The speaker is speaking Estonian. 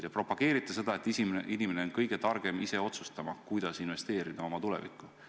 Te propageerite seda, et inimene on kõige targem ise otsustama, kuidas investeerida oma tulevikku.